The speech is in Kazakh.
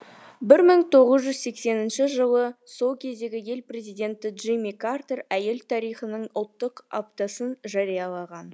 бір мың тоғыз жүз сексенінші жылы сол кездегі ел президенті джимми картер әйел тарихының ұлттық аптасын жариялаған